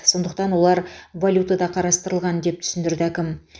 сондықтан олар валютада қарастырылған деп түсіндірді әкім